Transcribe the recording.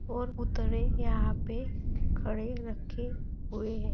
और पुतले यहा पे खड़े रखे हुए है।